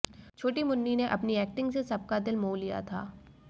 छोटी मुन्नी ने अपनी एक्टिंग से सबका दिल मोह लिया था